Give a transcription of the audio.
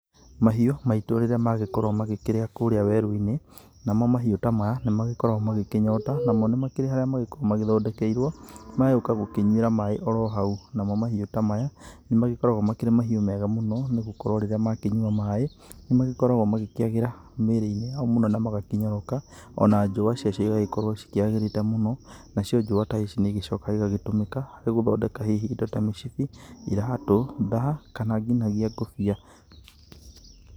Mahiũ maitũ rĩrĩa magĩkorwo magĩkĩrĩa kũrĩa werũ-inĩ, namo mahiũ ta maya nĩmagĩkoragwo magĩkĩnyota namo nĩmagĩkoragwo magĩthondekeirwo magagĩũka gũkĩnyuira maaĩ oro hau, namo mahiũ ta maya nĩ magĩkoragwo makĩrĩ mahiũ mega mũno, nĩgũkorwo rĩrĩa magĩkĩnyua maaĩ , nĩ magĩkoragwo magĩkiagĩra mĩĩri-inĩ yao na magakĩnyoroka, ona njũũa cioa cigagĩkorwo cikĩagĩrĩte mũno, nacio njũũa ta ici nĩ igĩcokaga agagĩtumĩka, harĩ gũthondeka indo ta mĩcibi , iratũ, thaa kana nginyagia ngũbia.